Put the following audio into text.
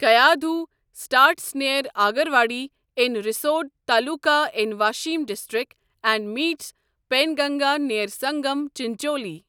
Kayadhu starts near Agarwadi in Risod taluka in Washim district and meets Penganga near Sangam Chincholi